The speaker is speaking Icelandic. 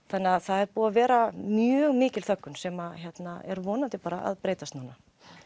þannig að það er búið að vera mjög mikil þöggun sem er vonandi bara að breytast núna